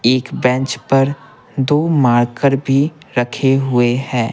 एक बेंच पर दो मार्कर भी रखे हुए हैं।